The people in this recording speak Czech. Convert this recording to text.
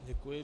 Děkuji.